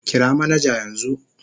Kira manaja yanzu